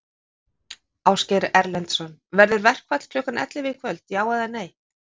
Ásgeir Erlendsson: Verður verkfall klukkan ellefu í kvöld, já eða nei?